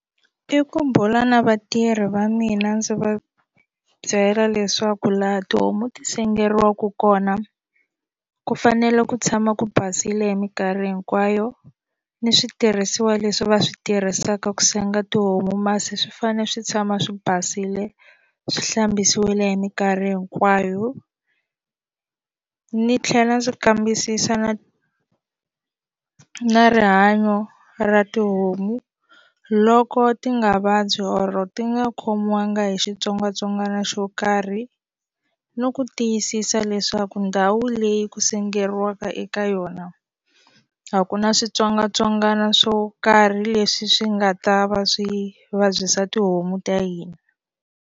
I ku bula na vatirhi va mina ndzi va byela leswaku laha tihomu ti sengeriwaku kona ku fanele ku tshama ku basile hi mikarhi hinkwayo ni switirhisiwa leswi va swi tirhisaka ku senga tihomu masi swi fanele swi tshama swi basile swi hlambisiwile hi mikarhi hinkwayo ni tlhela ndzi kambisisa na na rihanyo ra tihomu loko ti nga vabyi or ti nga khomiwanga hi xitsongwatsongwana xo karhi no ku tiyisisa leswaku ndhawu leyi ku sengeriwaka eka yona a ku na switsongwatsongwana swo karhi leswi swi nga ta va swi vabyisa tihomu ta hina.